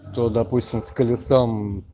то допустим с колесом